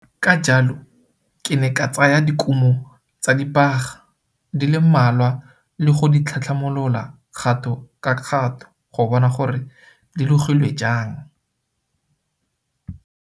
Ka jalo, ke ne ka tsaya dikumo tsa dibaga di le mmalwa le go di tlhatlhamolola kgato ka kgato go bona gore di logilwe jang.